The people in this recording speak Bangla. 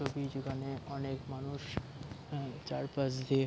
এখানে অনেক মানুষ ম চার পাশ দিয়ে --